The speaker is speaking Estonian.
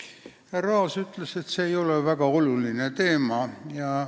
Härra Aas ütles, et kompensatsioonimandaatide jagamise viis ei ole väga oluline teema.